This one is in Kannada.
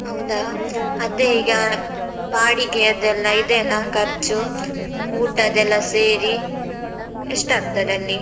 ಹೌದಾ? ಅದೇ ಈಗ ಬಾಡಿಗೆಯದ್ದೆಲ್ಲ, ಇದೆಯಲಾ ಖರ್ಚು? ಊಟದೆಲ್ಲ ಸೇರಿ ಎಷ್ಟಾಗ್ತದಲ್ಲಿ?